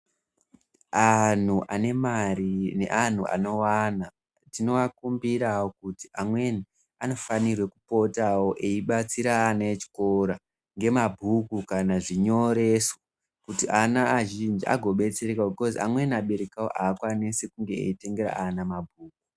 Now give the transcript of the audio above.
Anhu ane mari, neanhu anowana, tinoakumbirawo kuti amweni anofanire kupotawo, eibatsira ana echikora ngemabhuku kana zvinyoreso, kuti ana azhinji agobetserekawo, bhikhozi amweni abereki awo, aakwanisi kunge eitengera ana mabhuku.